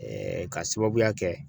k'a sababuya kɛ